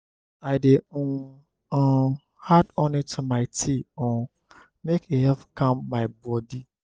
i dey um um add honey to my tea um make e help calm my bodi.